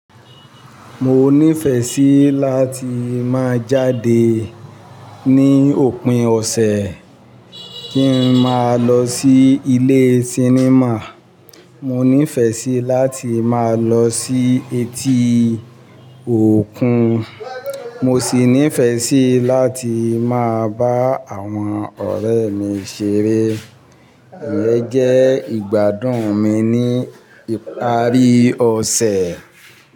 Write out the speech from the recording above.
Mo nífẹẹ sí láti máa jáde ní òpin ọ̀sẹ̀, kí n máa lọ sí ilé sinimá. Mo nífẹẹ sí láti máa lọ sí etí òkun. Mo sì nífẹẹ sí láti máa bá àwọn ọ̀rẹ́ mi ṣeré. Ìyẹn jẹ́ ìgbádùn mi ní ìparí ọ̀sẹ̀.